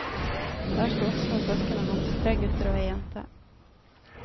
Der sto også søskenene hans, tre gutter og ei jente.